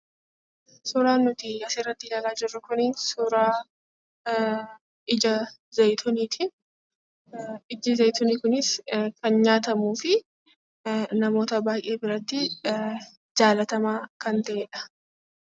Suuraan nuti asirratti ilaalaa jirru, suuraa ija zayituuniiti. Ijji zayituunii kunis kan nyaatamuu fi namoota baay'ee biratti jaallatamaa kan ta'edha.